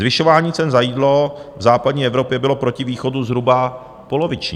Zvyšování cen za jídlo v západní Evropě bylo proti východu zhruba poloviční.